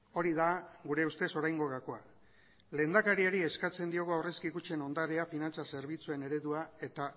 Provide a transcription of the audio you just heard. hori da gure ustez oraingo gakoa lehendakariari eskatzen diogu aurrezki kutxen ondarea finantza zerbitzuen eredua eta